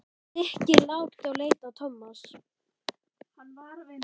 Nikki lágt og leit á Tómas.